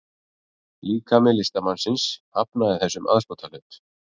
Líkami listamannsins hafnaði þessum aðskotahlut